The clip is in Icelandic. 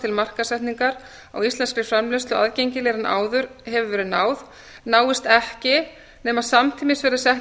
til markaðssetningar á íslenskri framleiðslu aðgengilegri en áður hefur verið náð náist ekki nema samtímis verði sett